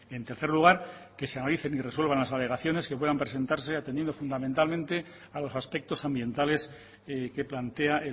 en tercer lugar que se analicen y resuelvan las alegaciones que puedan presentarse atendiendo fundamentalmente a los aspectos ambientales que plantea